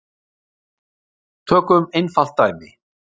Tökum einfalt dæmi.